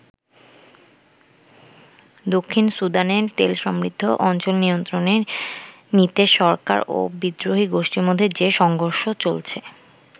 দক্ষিণ সুদানে তেলসমৃদ্ধ অঞ্চল নিয়ন্ত্রণে নিতে সরকার ও বিদ্রোহী গোষ্ঠীর মধ্যে যে সংঘর্ষ চলছে।